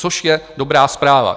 Což je dobrá zpráva.